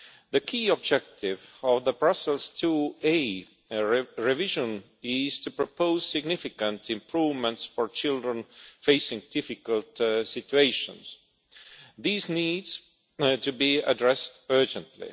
The key objective of the Brussels IIa revision is to propose significant improvements for children facing difficult situations. These need to be addressed urgently.